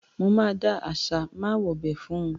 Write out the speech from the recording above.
Mo máa dá àṣà ‘má wobẹ̀’ fún un.